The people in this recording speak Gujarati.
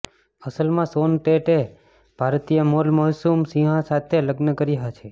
અસલમાં શોન ટેટે ભારતીય મોર્લ મશહૂમ સિંહા સાથે લગ્ન કર્યા છે